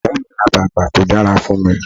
Ìyá mi ra bàtà tó dára fún mi.